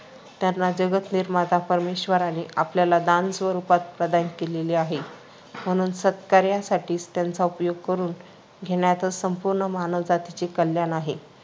त्यांना जगद्निर्माता परमेश्वराने आपल्याला दान स्वरूपात प्रदान केलेले आहे. म्हणून सत्कार्यासाठीच त्यांचा उपयोग करून घेण्यातच संपूर्ण मानवजातीचे कल्याण आहे.